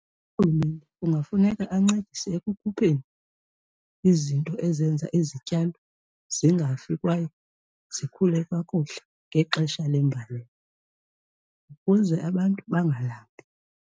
Urhulumente kungafuneka ancedise ekukhupheni izinto ezenza izityalo zingafi kwaye zikhule kakuhle ngexesha lembalela ukuze abantu bengalambi.